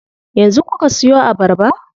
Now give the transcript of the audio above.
Yanzu kuka siyo abarba?